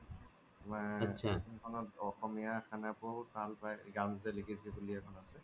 মানে তুমাৰ সেইখনত অসমীয়া খানা পুৱাও তান পাই জিলিকি বুলি এখন আছে